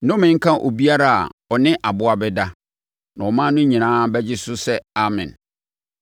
“Nnome nka obiara a ɔne aboa bɛda.” Na ɔman no nyinaa bɛgye so sɛ, “Amen!”